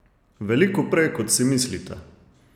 Veliko prej kot si mislite!